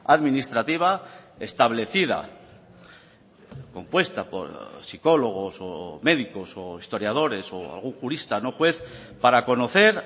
administrativa establecida compuesta por psicólogos o médicos o historiadores o algún jurista no juez para conocer